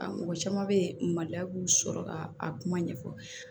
A mɔgɔ caman bɛ yen maloya b'u sɔrɔ ka a kuma ɲɛfɔ